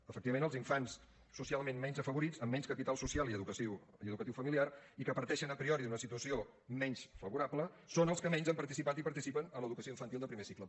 efectivament els infants socialment menys afavorits amb menys capital social i educatiu familiar i que parteixen a priori d’una situació menys favorable són els que menys han participat i participen en l’educació infantil de primer cicle